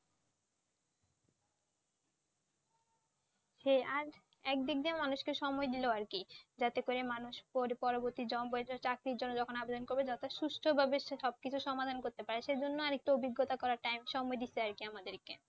সেই, আর একদিক দিয়ে মানুষকে সময় দিল আর কি যাতে করে মানুষ পরি~ পরবর্তী তে চাকরির জন্যে যখন আবেদন করবে যাতে সুস্থ ভাবে সবকিছু সমাধান করতে পারে সেজন্য আর একটু অভজ্ঞতা করার টা~ সময় দিচ্ছে আর কি আমাদেরকে।